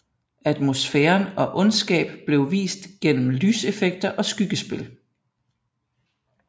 Atmosfæren og ondskab blev vist igennem lyseffekter og skyggespil